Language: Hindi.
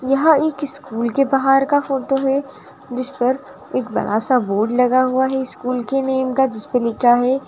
यहाँ एक स्कूल के बाहर का फोटो है जिसपर एक बड़ा स बोर्ड लगा है स्कूल के नेम का जिसपे लिखा है--